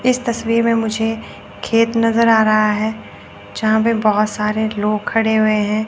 इस तस्वीर में मुझे खेत नजर आ रहा है जहां पे बहोत सारे लोग खड़े हुए हैं।